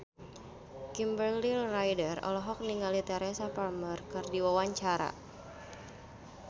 Kimberly Ryder olohok ningali Teresa Palmer keur diwawancara